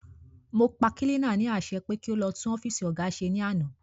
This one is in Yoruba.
Mọ pa kílínà ní àṣẹ pé kí o lọ tún ọ́fìsì óga ṣe ní àná